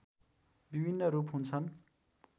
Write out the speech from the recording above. विभिन्न रूप हुन्छन्